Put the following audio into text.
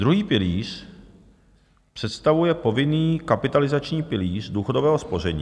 Druhý pilíř představuje povinný kapitalizační pilíř důchodového spoření.